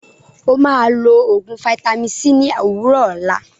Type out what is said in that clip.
Ó máa lọ oògùn vaitami c ní òwúrọ̀ òlá.